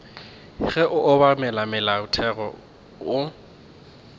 le go obamela molaotheo go